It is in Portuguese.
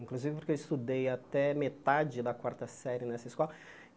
Inclusive porque eu estudei até metade da quarta série nessa